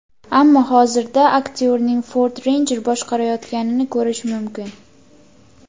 Ammo hozirda aktyorning Ford Ranger boshqarayotganini ko‘rish mumkin.